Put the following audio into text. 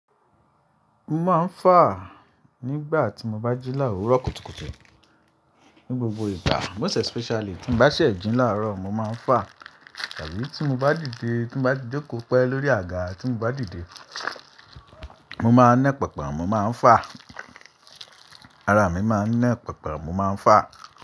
Mo máa ń fà nígbà tí mo bá jí láàárọ kùtùkùtù, ní gbogbo ìgbà. Most especially tí mo bá ṣẹ̀ jì láàárọ, mo máa ń fà tàbí tí mo bá dìde, tí mo bá jò kó pẹ́ lórí àga tí mo bá dìde, mo máa ń nẹ́ pẹpẹ, mo máa ń fà. Ara mi máa ń nẹ́ pẹpẹ, mo máa ń fà.